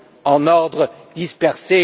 en ordre dispersé.